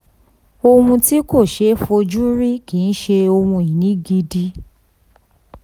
ohun tí kò ṣeé fojú rí kì í ṣe ohun ìní gidi.